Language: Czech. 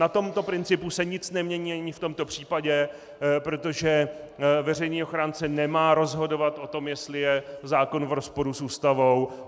Na tomto principu se nic nemění ani v tomto případě, protože veřejný ochránce nemá rozhodovat o tom, jestli je zákon v rozporu s Ústavou.